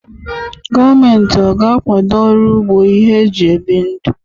Gọọmenti ọ ga-akwado ọrụ ugbo ihe eji ebi ndụ?